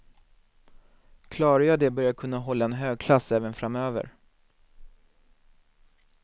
Klarar jag det bör jag kunna hålla en hög klass även framöver.